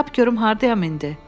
Tap görüm hardayam indi?